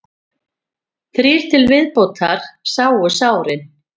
Þrír til viðbótar eru sárir